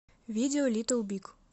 видео литл биг